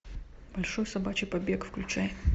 большой собачий побег включай